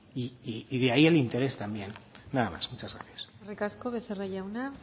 y de ahí el interés también nada más muchas gracias eskerrik asko becerra jauna